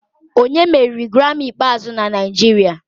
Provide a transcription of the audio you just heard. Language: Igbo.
Onye meriri Grammy ikpeazụ na Naijiria?